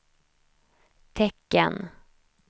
tecken